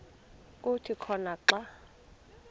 kuthi khona xa